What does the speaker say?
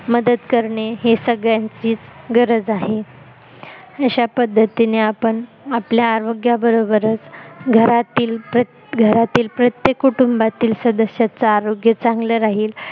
मदत करणे ही संगळ्यांचीच गरज आहे अश्या पद्धतिने आपण आपल्या आरोग्या बरोबरच घरातील प्रत्येक कुटुंबातील सदश्याचं आरोग्य चांगल राहील